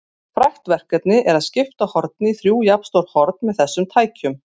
Frægt verkefni er að skipta horni í þrjú jafnstór horn með þessum tækjum.